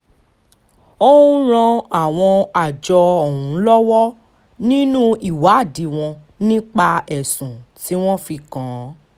ó ń ran àwọn àjọ ọ̀hún lọ́wọ́ nínú ìwádìí wọn nípa ẹ̀sùn tí wọ́n fi kàn án